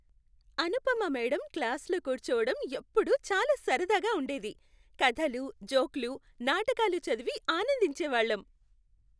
Anupama madam క్లాస్లో కూర్చోడం ఎప్పుడూ చాలా సరదాగా ఉండేది. కథలు, జోకులు, నాటకాలు చదివి ఆనందించేవాళ్లం.